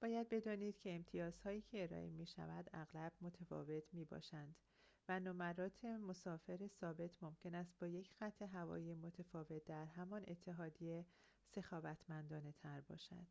باید بدانید که امتیازهایی که ارائه می‌شود اغلب متفاوت می‌باشند و نمرات مسافر ثابت ممکن است با یک خط‌هوایی متفاوت در همان اتحادیه سخاوتمندانه‌تر باشد